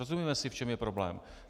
Rozumíme si, v čem je problém?